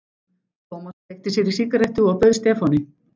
Thomas kveikti sér í sígarettu og bauð Stefáni.